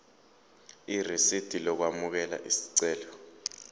irisidi lokwamukela isicelo